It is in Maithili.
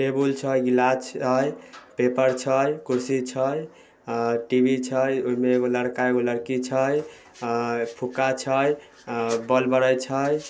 टेबुल छै गिलास छै पेपर छै कुर्सी छै अ टी_वी छै। उमे एको लड़का एको लड़की छै अ फुग्गा छै अ बोल बरे छै।